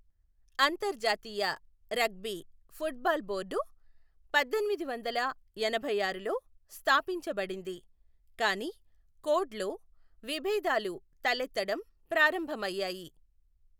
అంతర్జాతీయ rugby football board పద్దెనిమిది వందల ఎనభైఆరులో స్థాపించబడింది, కానీ కోడ్ లో విభేదాలు తలెత్తడం ప్రారంభమయ్యాయి .